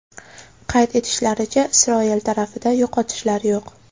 Qayd etishlaricha, Isroil tarafida yo‘qotishlar yo‘q.